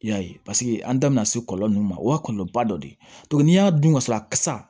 I y'a ye paseke an da bina se kɔlɔlɔ min ma o y'a kɔlɔlɔba dɔ de ye n'i y'a dun ka sɔrɔ a kasa